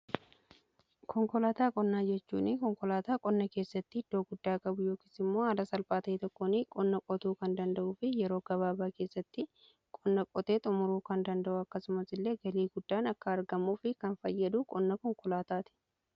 konkolaataa qonnaa jechuun konkolaataa qonna keessatti iddooo guddaa qabu yookiin immoo ala salphaa ta'e tokkoon qonna qotuu kan danda'uu fi yeroo gabaabaa keessatti qonna qotee xumuruu kan danda'u akkasumas illee galii guddaan akka argamuu fi kan fayyadu qonna konkolaataati.